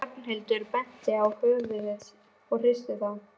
Ragnhildur benti á höfuðið og hristi það.